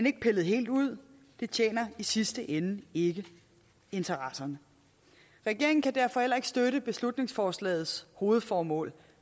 ikke pilles helt ud det tjener i sidste ende ikke interesserne regeringen kan derfor heller ikke støtte beslutningsforslagets hovedformål